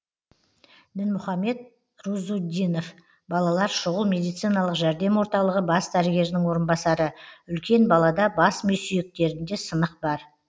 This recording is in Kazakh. дінмұхамед рузуддинов балалар шұғыл медициналық жәрдем орталығы бас дәрігерінің орынбасары үлкен балада бас ми сүйектерінде сынық бар